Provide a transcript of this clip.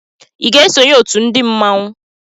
I ga-esonye òtù ndị mmanwu?